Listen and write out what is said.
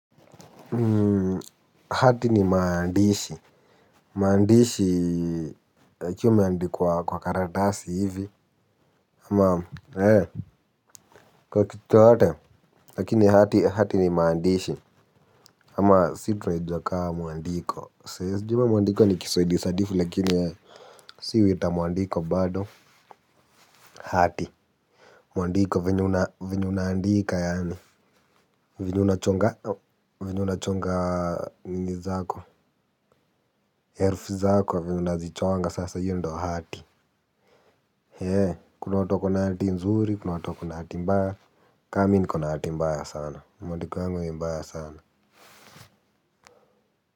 Um hati ni maandishi maandishi yakiwa yameandikwa kwa karatasi hivi ama hee kwa kitu yoyote lakini hati hati ni maandishi ama si tunaijua kama mwandiko, siwezi jua mwandiko ni kiswahili sanifu lakini si huiita mwandiko bado hati, mwandiko venye una venye unaandika yaani, venye una chonga venye unachonga nini zako herufi zako, venye unazichonga sasa hiyo ndo hati. Eeh, kuna watu wako na hati nzuri, kuna watu wako na hati mbaya, ka mi niko na hati mbaya sana, mwandiko yangu ni mbaya sana.